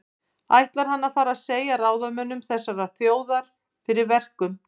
Ætlar hann að fara að segja ráðamönnum þessarar þjóðar fyrir verkum?